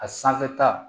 A sanfɛ ta